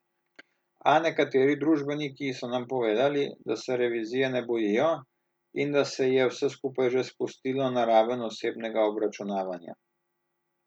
A nekateri družbeniki so nam povedali, da se revizije ne bojijo in da se je vse skupaj že spustilo na raven osebnega obračunavanja.